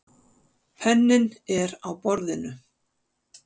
Penninn er á borðinu.